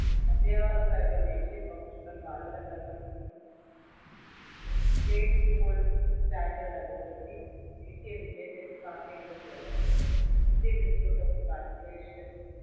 അധ്യാപകർക്കായുള്ള ദേശീയ professional മാനദണ്ഡങ്ങൾ state school standard authority ദേശീയ വിദ്യാഭ്യാസ സാങ്കേതിക forumindian institute of translation